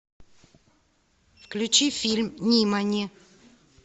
включи фильм нимани